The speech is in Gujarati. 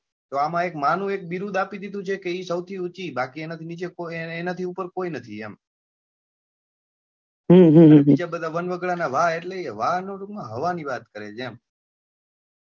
તો એમાં એક માં નું એક બિરુદ આપી દીધું છે કે એ સૌથી ઉંચી બાકી એના થી ઉપર કોઈ નથી એમ અને બીજા બધા વનવગડા નાં વા એ હવા ની વાત કરે છે એમ Okay